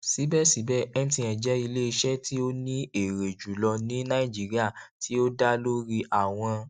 sibẹsibẹ mtn jẹ ileiṣẹ ti o ni ere julọ ni naijiria ti o da lori awọn